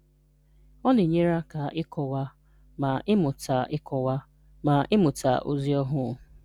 Ọ̀ na-ényèrè̀ aká ịkọ̀wà ma ị́mụ̀tà ịkọ̀wà ma ị́mụ̀tà òzì ọhú̄.”